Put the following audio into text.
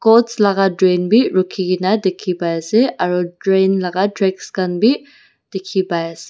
laka train bi rakhikaena dikhipaiase aro train laka tracks khan bi dikhipaiase--